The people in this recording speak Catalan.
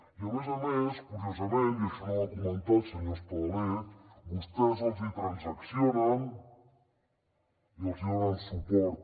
i a més a més curiosament i això no ho ha comentat senyor espadaler vostès els hi transaccionen i els hi donen suport